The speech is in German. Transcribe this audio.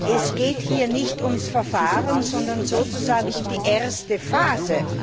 Es geht hier nicht um das Verfahren, sondern sozusagen um die erste Phase.